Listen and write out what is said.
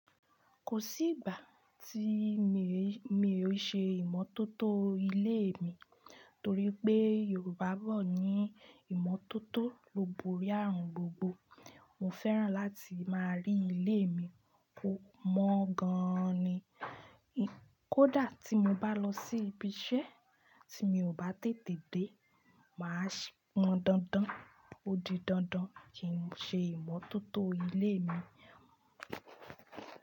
Kò sí ìgbà tí mi, mi ò ṣe ìmọ́tótó ilé mi torí pé Yorùbá bọ̀ ní ìmọ́tótó lo borí ààrùn gbogbo. Mo fẹ́ràn láti máa rí ilé mi kó mọ́ gan ni. Kódà tí mo bá lọ sí ibiṣẹ́ tí mi ò bá tètè dé, màá ṣì mọ dandan. Ó di dandan kí n ṣe ìmọ́tótó ilé mi.